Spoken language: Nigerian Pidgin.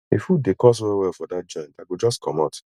if food dey cost wellwell for that joint i go just comot